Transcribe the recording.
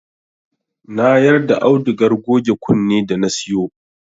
Na yarda audugar goge kunne da na siyo